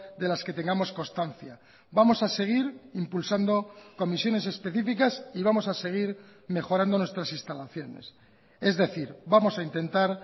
de las que tengamos constancia vamos a seguir impulsando comisiones específicas y vamos a seguir mejorando nuestras instalaciones es decir vamos a intentar